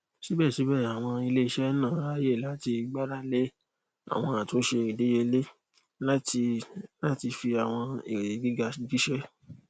síbẹsíbẹ àwọn iléiṣẹ náà ráàyè láti gbáralé àwọn àtúnṣe ìdíyelé láti láti fi àwọn èrè gíga jíṣẹ